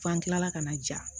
F'an kilala ka na ja